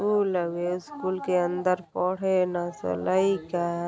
school हवे school के अंदर पढे ल सन लईका --